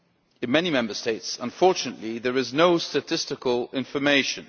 In many Member States, unfortunately, there is no statistical information.